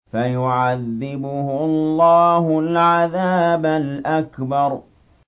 فَيُعَذِّبُهُ اللَّهُ الْعَذَابَ الْأَكْبَرَ